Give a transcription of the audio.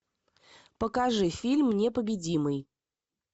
покажи фильм непобедимый